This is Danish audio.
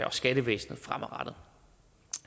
og skattevæsenet fremadrettet